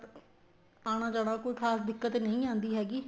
ਆਣਾ ਜਾਣਾ ਕੋਈ ਖ਼ਾਸ ਦਿੱਕਤ ਨਹੀਂ ਆਂਦੀ ਹੈਗੀ